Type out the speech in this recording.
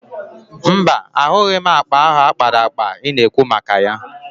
Mba, ahụghị m akpa ahụ a kpara akpa ị na-ekwu maka ya.